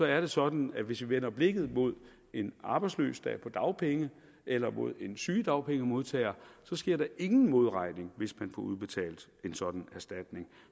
er det sådan at hvis vi vender blikket mod en arbejdsløs der er på dagpenge eller mod en sygedagpengemodtager så sker der ingen modregning hvis man får udbetalt en sådan erstatning